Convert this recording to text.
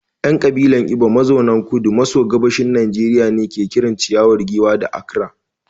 ‘Yan kabilar Igbo mazauna Kudu maso Gabashin Najeriya ne ke kiran ciyawa giwa ‘achara’